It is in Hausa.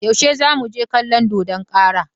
Yaushe za mu je kallon dodon kara?